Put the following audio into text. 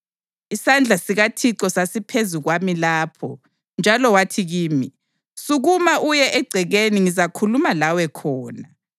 Isandla sikaThixo sasiphezu kwami lapho, njalo wathi kimi, “Sukuma uye egcekeni ngizakhuluma lawe khona.”